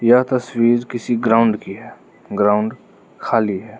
यह तस्वीर किसी ग्राउंड की है ग्राउंड खाली है।